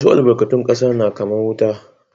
Wassu albarkatun kasa na kaman wuta.